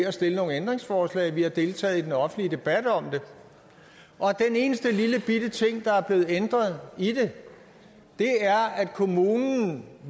at stille nogle ændringsforslag og vi har deltaget i den offentlige debat om det og den eneste lillebitte ting der er blevet ændret i det er at kommunen